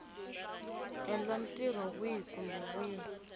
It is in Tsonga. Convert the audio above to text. endla ntirho wihi kumbe wihi